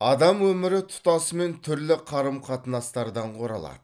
адам өмірі тұтасымен түрлі қарым қатынастардан құралады